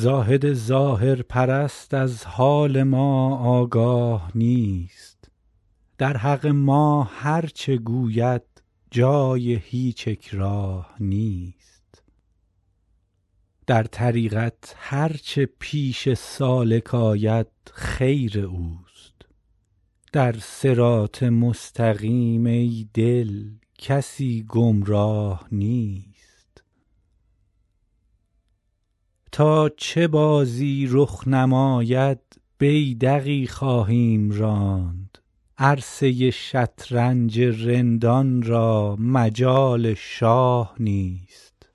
زاهد ظاهرپرست از حال ما آگاه نیست در حق ما هرچه گوید جای هیچ اکراه نیست در طریقت هرچه پیش سالک آید خیر اوست در صراط مستقیم ای دل کسی گمراه نیست تا چه بازی رخ نماید بیدقی خواهیم راند عرصه ی شطرنج رندان را مجال شاه نیست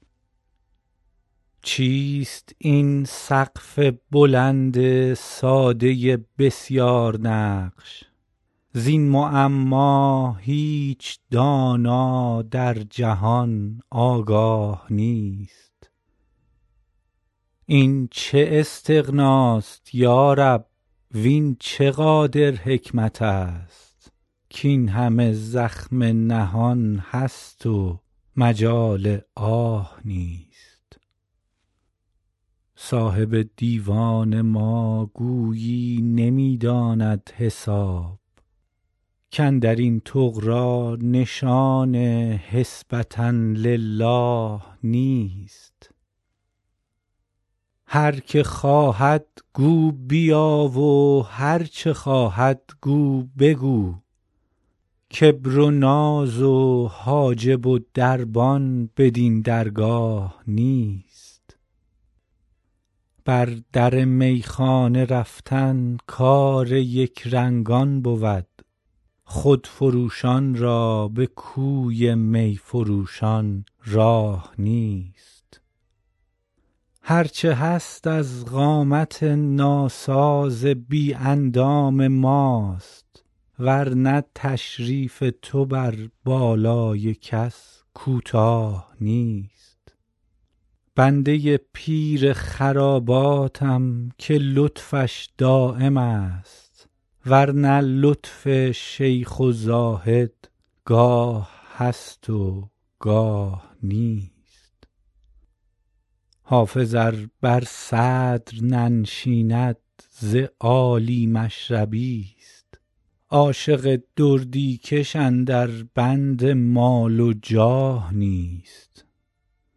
چیست این سقف بلند ساده بسیارنقش زین معما هیچ دانا در جهان آگاه نیست این چه استغناست یا رب وین چه قادر حکمت است کاین همه زخم نهان است و مجال آه نیست صاحب دیوان ما گویی نمی داند حساب کاندر این طغرا نشان حسبة للٰه نیست هر که خواهد گو بیا و هرچه خواهد گو بگو کبر و ناز و حاجب و دربان بدین درگاه نیست بر در میخانه رفتن کار یکرنگان بود خودفروشان را به کوی می فروشان راه نیست هرچه هست از قامت ناساز بی اندام ماست ور نه تشریف تو بر بالای کس کوتاه نیست بنده ی پیر خراباتم که لطفش دایم است ور نه لطف شیخ و زاهد گاه هست و گاه نیست حافظ ار بر صدر ننشیند ز عالی مشربی ست عاشق دردی کش اندر بند مال و جاه نیست